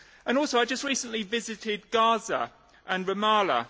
Also, I just recently visited Gaza and Ramallah.